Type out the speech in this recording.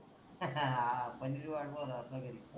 आ पनीर वाट पाहू लागला पनीर